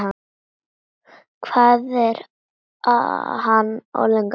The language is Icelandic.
Hvað er hann orðinn gamall?